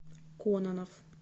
кононов